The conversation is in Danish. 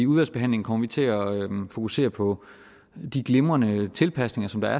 udvalgsbehandlingen kommer vi til at fokusere på de glimrende tilpasninger som der